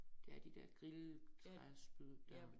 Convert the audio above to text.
Det er de dér grill træspyd